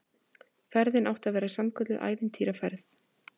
Ferðin átti að verða sannkölluð ævintýraferð